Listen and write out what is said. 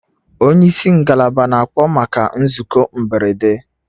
Onye isi ngalaba na-akpọ maka nzukọ mberede